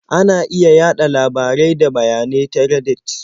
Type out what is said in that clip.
Ana iya yaɗa labarai da bayanai ta Reddit.